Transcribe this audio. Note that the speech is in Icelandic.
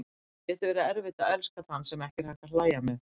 Það getur verið erfitt að elska þann sem ekki er hægt að hlæja með.